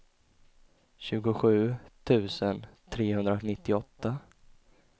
tjugosju tusen trehundranittioåtta